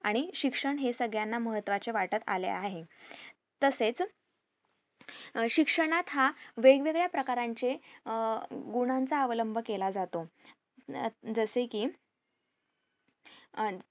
आणि शिक्षण हे सगळ्यांना महत्वाचे वाटत आले आहे तसेच अं शिक्षणात हा वेगवेगळ्या प्रकारांचे अह गुणाचं अवलंब केला जातो अं जसे कि